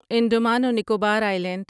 انڈمان و نکوبار آییلینڈ